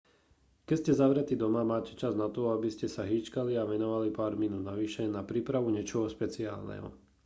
keď ste zavretý doma máte čas na to aby ste sa hýčkali a venovali pár minút navyše na prípavu niečoho špeciálneho